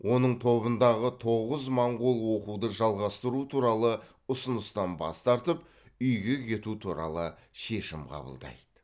оның тобындағы тоғыз моңғол оқуды жалғастыру туралы ұсыныстан бас тартып үйге кету туралы шешім қабылдайды